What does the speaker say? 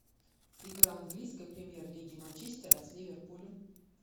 игра английской премьер лиги манчестера с ливерпулем